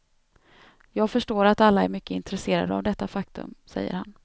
Jag förstår att alla är mycket intresserade av detta faktum, säger han.